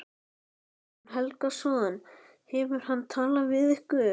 Guðjón Helgason: Hefur hann talað við ykkur?